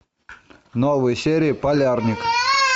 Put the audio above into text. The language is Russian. новые серии полярный